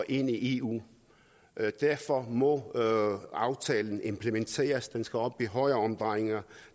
ind i eu derfor må aftalen implementeres den skal op i højere omdrejninger